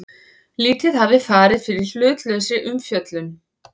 Lítið hafi farið fyrir hlutlausri umfjöllun